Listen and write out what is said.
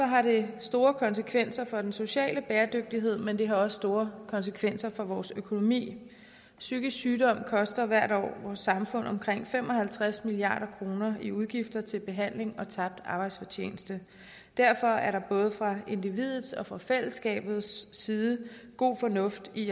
har det store konsekvenser for den sociale bæredygtighed men det har også store konsekvenser for vores økonomi psykisk sygdom koster hvert år vores samfund omkring fem og halvtreds milliard kroner i udgifter til behandling og tabt arbejdsfortjeneste derfor er der både fra individets og fra fællesskabets side god fornuft i